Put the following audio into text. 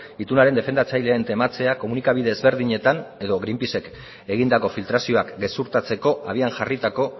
itunaren defendatzaileen tematzeak komunikabide ezberdinetan edo greenpacek egindako filtrazioak gezurtatzeko abian jarritako